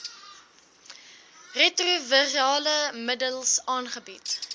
retrovirale middels aangebied